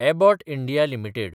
Abbott India limited